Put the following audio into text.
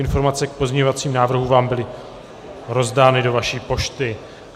Informace k pozměňovacím návrhům vám byly rozdány do vaší pošty.